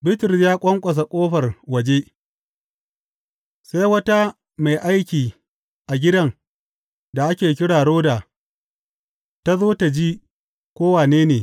Bitrus ya ƙwanƙwasa ƙofar waje, sai wata mai aiki a gidan da ake kira Roda ta zo tă ji ko wane ne.